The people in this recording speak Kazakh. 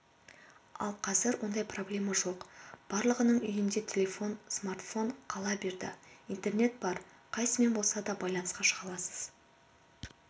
ал қазір ондай проблема жоқ барлығының үйінде телефон смартфон қала берді интернет бар қайсысымен болса да байланысқа шыға аласыз